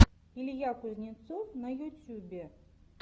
илья кузнецов на ютюбе